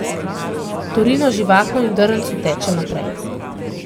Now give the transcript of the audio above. Torino živahno in v drncu teče naprej.